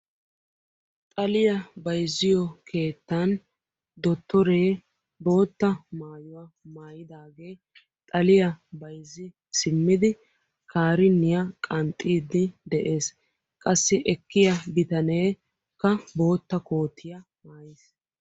Xaliya bayzziyo keettan dottore bootta maayuwa maayidaage xaliyaa bayzzi simmidi kariniyaa qanxxiiddi de'ees. qassi ekkiya biitaneekka bootta koottiya maayyiis.